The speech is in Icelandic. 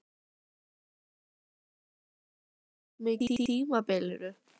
Hefur leikmannahópurinn verið að breytast mikið á tímabilinu?